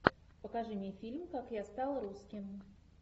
покажи мне фильм как я стал русским